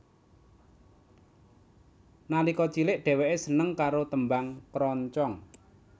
Nalika cilik dheweke seneng karo tembang kroncong